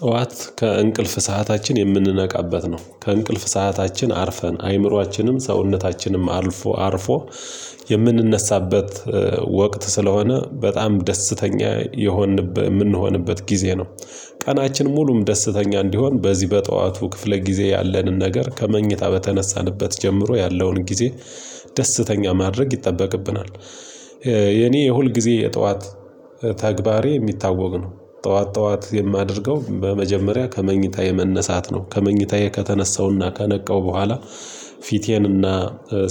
ጠዋት ከእንቅልፍ ሰዓታችን የምንነቃበት ነው ከእንቅልፍ ሰዓታችን አርፈን አይምሮአችንም ሰውነታችንም አርፎ አርፎ የምንነሳበት ወቅት ስለሆነ በጣም ደስተኛ የሆንንበት የምንሆንበት ጊዜ ነው። ቀናችን ሙሉም ደስተኛ እንዲሆን በዚህ በጠዋቱ ክፍለ ጊዜ ያለንን ነገር ከመኝታ በተነሳንበት ጀምሮ ያለውን ጊዜ ደስተኛ ማድረግ ይጠበቅብናል። የኔ የሁልጊዜ የጠዋት ተግባሬ ሚታወቅ ነው። ጠዋት ጠዋት የማደርገው በመጀመሪያ ከመኝታ የመነሳት ነው ከመኝታዬ ከተነሳውና ከነቃው በኋላ። ፊቴንና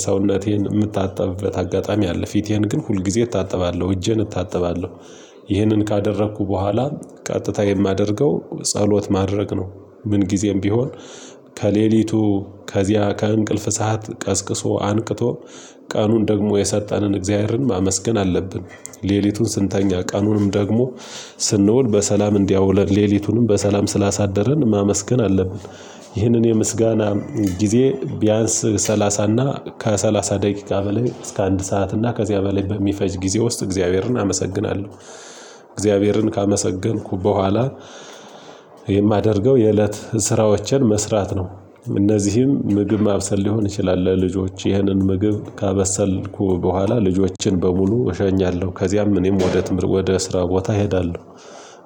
ሰውነቴን እምታጠብበት አጋጣሚ አለ ፊቴን ግን ሁልጊዜ እታጥባለሁ እጄን እታጥባለሁ። ይህንን ካደረኩ በኋላ ቀጥታ የማደርገው ጸሎት ማድረግ ነው። ምን ጊዜም ቢሆን ከሌሊቱ ከዚያ ከእንቅልፍ ሰዓት ቀስቅሶ አንቅቶ ቀኑን ደግሞ የሰጠንን እግዚአብሔርን ማመስገን አለብን። ሌሊቱን ስንተኛ ቀኑንም ደግሞ ስንውል በሰላም እንዲያወለን ሌሊቱንም በሰላም ስላሳደረን ማመስገን አለብን። ይህንን የምስጋና ጊዜ ቢያንስ ሰላሳ እና ከሰላሳ ደቂቃ በላይ እስከ አንድ ሰዓት እና ከዚያ በላይ በሚፈጅ ጊዜ ውስጥ እግዚአብሔርን አመሰግናለሁ። እግዚአብሔርን ካመሰገንኩ በኋላ የማደርገው የእለት ስራዎችን መስራት ነው። እነዚህም ምግብ ማብሰል ሊሆን ይችላል ለልጆች ይህንን ምግብ ካበሰልኩ በኋላ ልጆችን በሙሉ እሸኛለሁ ከዚያም እኔም ወደ ትምህርት ወደ ስራ ቦታ እሄዳለሁ።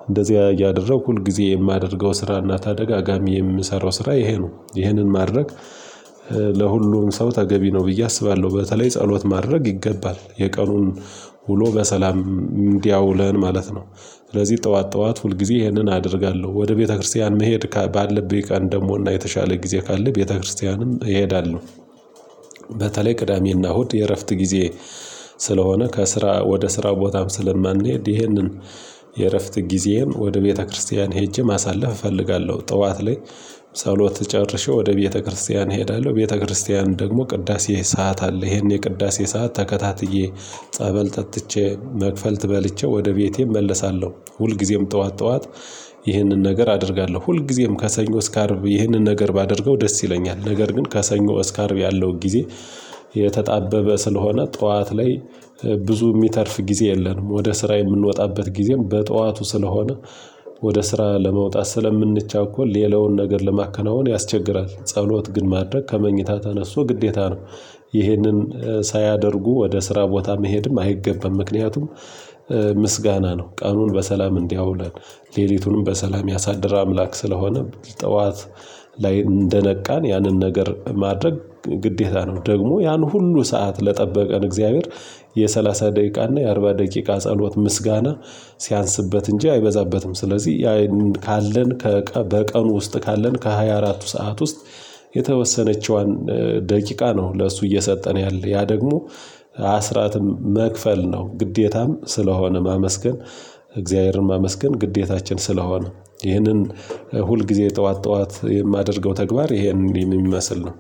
እንደዚያ እያደረገኩ ሁል ጊዜ የማደርገው ስራና ተደጋጋሚ የምሰራው ስራ ይሄ ነው ይሄንን ማድረግ ለሁሉም ሰው ተገቢ ነው ብዬ አስባለሁ። በተለይ ጸሎት ማድረግ ይገባል የቀኑን ውሎ በሰላም እንዲያውለን ማለት ነው። ስለዚህ ጠዋት ጠዋት ሁልጊዜ ይህንን አደርጋለሁ ወደ ቤተክርስቲያን መሄድ ባለብኝ ቀን ደግሞና የተሻለ ጊዜ ካለ ቤተክርስቲያንም እሄዳለሁ። በተለይ ቅዳሜና እሁድ የእረፍት ጊዜ ስለሆነ ከስራ ወደ ስራ ቦታም ስለማንሄድ ይሄንን የእረፍት ጊዜም ወደ ቤተክርስቲያን ሄጄ ማሳለፍ እፈልጋለሁ። ጠዋት ላይ ጸሎት ጨርሼ ወደ ቤተክርስቲያን እሄዳለሁ ቤተክርስቲያን ደግሞ ቅዳሴ ሰዓት አለ ይሄን የቅዳሴ ሰዓት ተከታትዬ ጸበል ጠጥቼ መክፈልት በልቸ ወደ ቤቴ እመለሳለሁ። ሁልጊዜም ጠዋት ጠዋት ይህንን ነገር አደርጋለሁ። ሁልጊዜም ከሰኞ እስከ አርብ ይህንን ነገር ባደርገው ደስ ይለኛል ነገር ግን ከሰኞ እስከ አርብ ያለው ጊዜ። የተጣበበ ስለሆነ ጠዋት ላይ ብዙ ሚተርፍ ጊዜ የለንም። ወደ ስራ የምንወጣበት ጊዜም በጠዋቱ ስለሆነ ወደ ስራ ለመውጣት ስለምንቻኮል ሌላውን ነገር ለማከናወን ያስቸግራል። ጸሎት ግን ማድረግ ከመኝታ ተነስቶ ግዴታ ነው። ይህንን ሳያደርጉ ወደ ስራ ቦታ መሄድም አይገበም። ምክንያቱም ምስጋና ነው። ቀኑን በሰላም እንዲያውለን ሌሊቱንም በሰላም ያሳድር አምላክ ስለሆነም ጥዋት ላይ እንደነቃን ያንን ነገር ማድረግ ግዴታ ነው። ደግሞ ያን ሁሉ ሰዓት ለጠበቀን እግዚአብሔር የሰላሳ ደቂቃ እና የአርባ ደቂቃ ጸሎት ምስጋና ሲያንስበት እንጂ አይበዛበትም። ስለዚህ ያይን ካለን ከቀን በቀን ውስጥ ካለን ከሃያ አራቱ ሰዓት ውስጥ የተወሰነችዋን ደቂቃ ነው። ለእሱ እየሰጠን ያለ ያ ደግሞ አስራትም መክፈል ነው። ግዴታም ስለሆነ ማመስገን እግዚአብሔርን ማመስገን ግዴታችን ስለሆነ። ይህንን ሁልጊዜ ጠዋት ጠዋት የማደርገው ተግባር ይህንን የሚመስል ነው።